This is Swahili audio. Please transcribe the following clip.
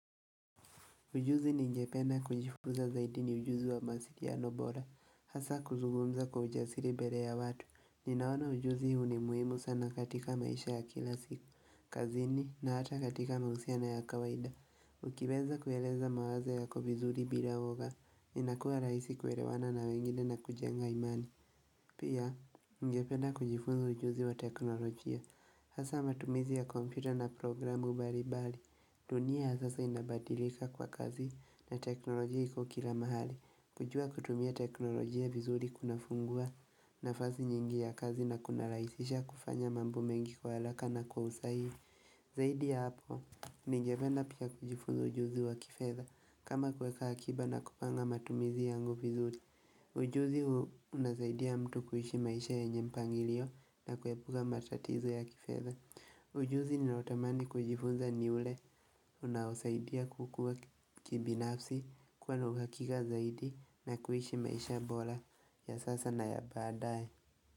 Ujuzi ningependa kujifunza zaidi ni ujuzi wa masiliano bora. Hasa kuzugumza kwa ujasiri bere ya watu. Ninaona ujuzi huu ni muhimu sana katika maisha ya kila siku. Kazini na hata katika maausiano ya kawaida. Ukiweza kueleza mawazo yako vizuri bila woga. Inakua rahisi kuelewana na wengine na kujenga imani. Pia, ningependa kujifunza ujuzi wa teknolojia. Hasa matumizi ya kompyuta na programu mbalimbali. Dunia yasasa inabadilika kwa kazi na teknolojia iko kila mahali kujua kutumia teknolojia vizuri kuna fungua na fasi nyingi ya kazi na kuna rahisisha kufanya mambo mengi kwa haraka na kwa usahihi Zaidi ya hapo, ningependa pia kujifunza ujuzi wa kifeza kama kuweka akiba na kupanga matumizi yangu vizuri Ujuzi huu unasaidia mtu kuishi maisha ye nyempangilio na kuepuka matatizo ya kifedha Ujuzi ni naotamani kujifunza ni ule unaosaidia kukua kibinafsi kuwa na uhakakika zaidi na kuhishi maisha bora ya sasa na ya baadaye.